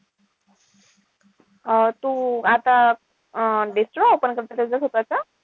अं तू आता अं restaurant open करतेय का स्वतःचा?